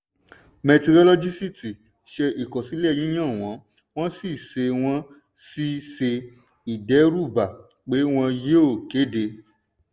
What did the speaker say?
mẹtirolọ́gìsíítì ṣe ìkọsílẹ̀ yíyan wọn wọ́n sì ṣe wọ́n sì ṣe ìdẹ́rúbà pé wọ́n yóò kéde.